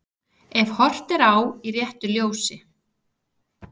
Ef horft er á í réttu ljósi.